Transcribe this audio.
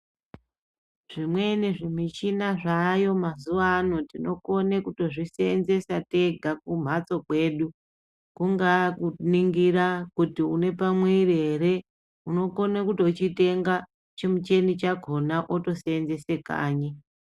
Zvimweni zvimichina zvaayo mazuwaano tinokone kuto zviseenzesa tega kumhatso kwedu kungaa kuningira kuti une pamwiri ere, unokona kuto chitenga chimuchini chakhona oto seenzese kanyi.